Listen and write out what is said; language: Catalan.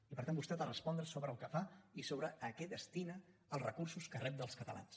i per tant vostè ha de respondre sobre el que fa i sobre a què destina els recursos que rep dels catalans